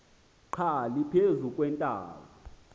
xa liphezu kweentaba